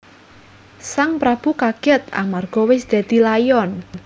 Sang prabu kagèt amarga wis dadi layon